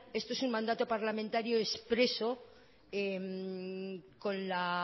esto es un mandato parlamentario expreso con la